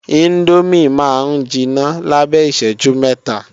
Índómì máa ń jiná lábẹ́ ìṣẹ́jú mẹ́ta